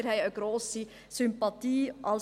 Wir haben eine grosse Sympathie dafür.